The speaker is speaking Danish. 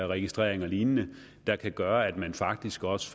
registrering og lignende der kan gøre at man faktisk også